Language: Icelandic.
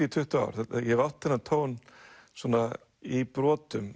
í tuttugu ár ég hef átt þennan tón svona í brotum